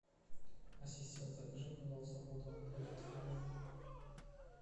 ассистент закажи пожалуйста воду аква литровую